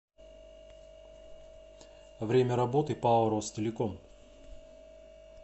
время работы пао ростелеком